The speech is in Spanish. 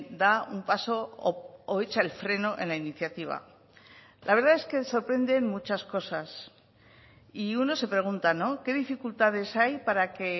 da un paso o echa el freno en la iniciativa la verdad es que sorprenden muchas cosas y uno se pregunta qué dificultades hay para que